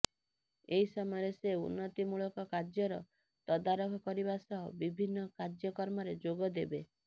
ଏହି ସମୟରେ ସେ ଉନ୍ନତିମୂଳକ କାର୍ଯ୍ୟର ତଦାରଖ କରିବା ସହ ବିଭିନ୍ନ କାର୍ଯ୍ୟକ୍ରମରେ ଯୋଗ ଦେବେ